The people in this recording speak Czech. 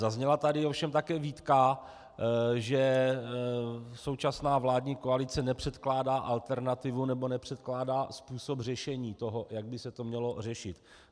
Zazněla tady ovšem také výtka, že současná vládní koalice nepředkládá alternativu, nebo nepředkládá způsob řešení toho, jak by se to mělo řešit.